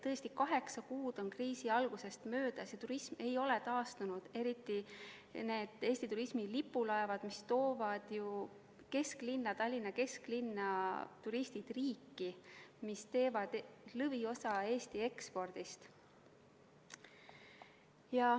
Tõesti, kaheksa kuud on kriisi algusest möödas ja turism ei ole taastunud, eriti need Eesti turismi lipulaevad, mis toovad turistid Tallinna kesklinna, toovad turistid riiki ja mis annavad lõviosa Eesti ekspordist.